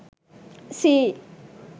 sea